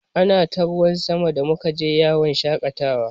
Ana ta ruwan sama da muka je yawon shaƙatawa.